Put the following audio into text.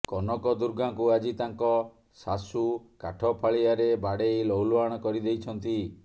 କନକଦୁର୍ଗାଙ୍କୁ ଆଜି ତାଙ୍କ ଶାଶୂ କାଠ ଫାଳିଆରେ ବାଡ଼େଇ ଲହୁଲୁହାଣ କରିଦେଇଛନ୍ତି